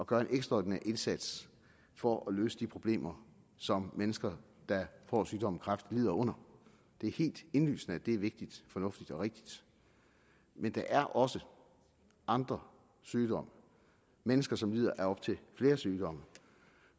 gøre en ekstraordinær indsats for at løse de problemer som mennesker der får sygdommen kræft lider under det er helt indlysende at det er vigtigt fornuftigt og rigtigt men der er også andre sygdomme mennesker som lider af op til flere sygdomme